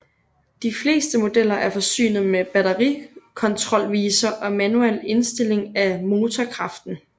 De fleste modeller er forsynet med batterikontrolviser og manuel indstilling af motorkraften